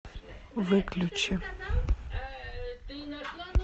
выключи